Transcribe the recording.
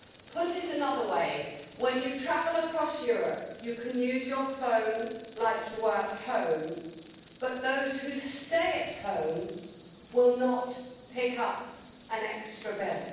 To put it another way, when you travel across Europe, you can use your phone as though you were at home, but those who stay at home will not pick up an extra bill.